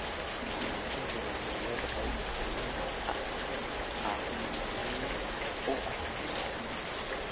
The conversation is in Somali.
Karootadu waxay leedahay fiitamiin A oo muhiim u ah indhaha.